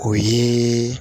O ye